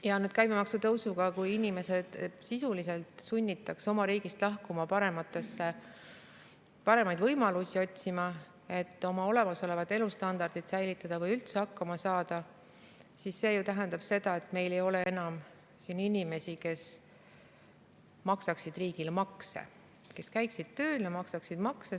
Ja nüüd käibemaksutõusuga, kui inimesed sisuliselt sunnitakse oma riigist lahkuma, paremaid võimalusi otsima, et oma olemasolevat elustandardit säilitada või üldse hakkama saada, siis see tähendab seda, et meil ei ole enam inimesi, kes maksaksid riigile makse, kes käiksid tööl ja maksaksid makse.